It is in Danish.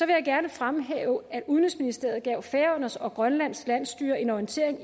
gerne fremhæve at udenrigsministeriet gav færøernes og grønlands landsstyrer en orientering